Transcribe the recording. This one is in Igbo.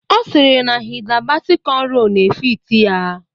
Ọ sịrị na Hida Basi kọnro na-efiti ya